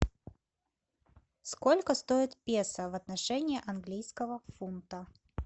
сколько стоит песо в отношении английского фунта